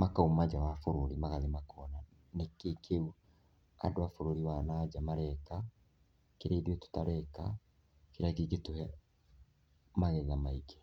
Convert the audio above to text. makauma nja wa bũrũri magathiĩ makona nĩkĩĩ kĩũ andũ a bũrũri wa na nja mareka, kĩrĩa ithuĩ tũtareka, kĩrĩa kĩngĩtũhe magetha maingĩ.